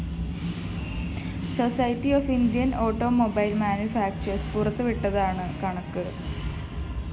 society of Indian‍ automobile manufacturers പുറത്തുവിട്ടതാണ് കണക്ക്